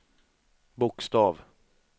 bokstav